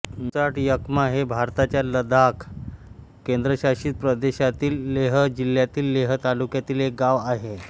चुचाट यक्मा हे भारताच्या लडाख केंद्रशासित प्रदेशातील लेह जिल्हातील लेह तालुक्यातील एक गाव आहे